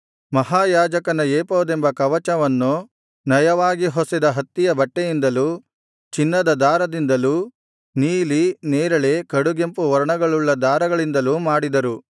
ಮಹಾಯಾಜಕನ ಏಫೋದೆಂಬ ಕವಚವನ್ನು ನಯವಾಗಿ ಹೊಸೆದ ಹತ್ತಿಯ ಬಟ್ಟೆಯಿಂದಲೂ ಚಿನ್ನದ ದಾರದಿಂದಲೂ ನೀಲಿ ನೇರಳೆ ಕಡುಗೆಂಪು ವರ್ಣಗಳುಳ್ಳ ದಾರಗಳಿಂದಲೂ ಮಾಡಿದರು